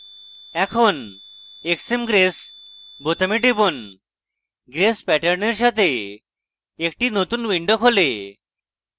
এখন xmgrace বোতামে টিপুন grace প্যাটার্নের সাথে একটি নতুন window খোলে